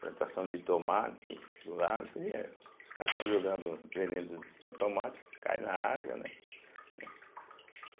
plantação de tomate do lado, eu falei: é, os caras estão jogando veneno para o tomate, cai na água, né? né